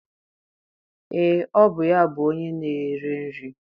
Ee, ọ bụ ya bụ onye na-ere nri